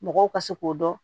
Mɔgɔw ka se k'o dɔn